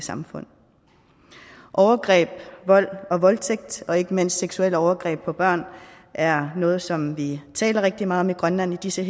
samfund overgreb vold og voldtægt og ikke mindst seksuelle overgreb på børn er noget som vi taler rigtig meget om i grønland i disse